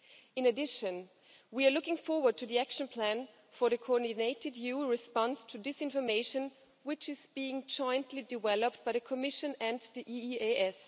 In addition, we are looking forward to the action plan for a coordinated EU response to disinformation, which is being jointly developed by the Commission and the EEAS.